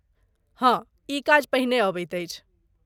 हँ, ई काज पहिने अबैत अछि।